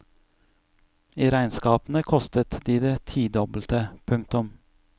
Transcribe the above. I regnskapene kostet de det tidobbelte. punktum